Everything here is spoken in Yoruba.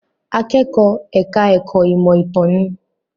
Akẹ́kọ̀ọ́ ẹ̀ka ẹ̀kó ìmọ̀ ìtàn ni.